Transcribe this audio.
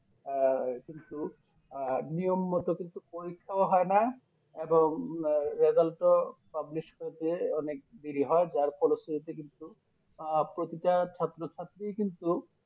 আহ কিন্তু আহ নিয়ম মতো কিন্তু পরীক্ষা ও হয়না এবং Result ও publish করতে অনেক দেরি হয় যার ফলস্তিথিতে কিন্তু প্রতিটা ছাত্র ছাত্রীই কিন্তু